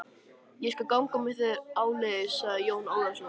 Ég skal ganga með þér áleiðis, sagði Jón Ólafsson.